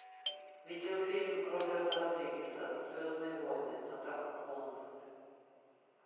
видео фильм роберта родригеса звездные войны атака клонов